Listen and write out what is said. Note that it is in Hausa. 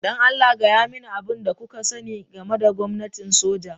Don Allah, gaya mani abin da kuka sani game da gwamnatin soja.